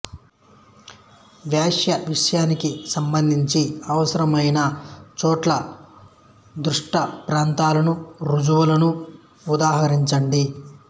వ్యాస విషయానికి సంబంధించి అవసరమైన చోట్ల దృష్టాంతాలను రుజువులను ఉదహరించండి